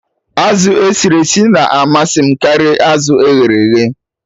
Azụ esiri esi na-amasị m karịa azụ eghere eghe